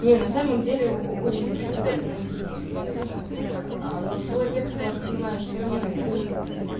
не на самом деле очень прикольно просто это но свой текст воспринимаешь всё равно иначе